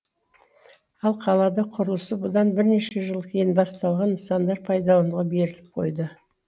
ал қалада құрылысы бұдан бірнеше жыл кейін басталған нысандар пайдаланылуға беріліп қойды